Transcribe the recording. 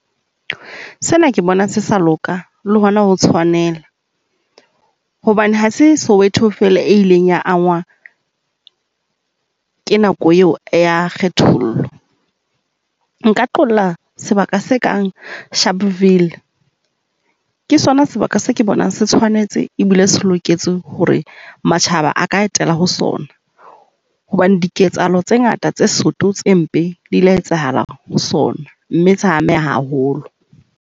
Sena ke bona se sa loka le hona ho tshwanela hobane ha se Soweto fela e ileng ya anngwa ke nako eo ya kgethollo. Nka qolla sebaka se kang Sharpville. Ke sona sebaka seo ke bonang se tshwanetse e bile se loketse hore matjhaba a ka etela ho sona hobane diketsahalo tse ngata, tse soto, tse mpe di ile tsa etsahala ho sona. Mme sa ameha haholo.